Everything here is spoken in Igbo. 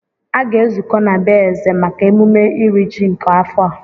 Aga-ezukọ na be eze maka emume iri ji nke afọ a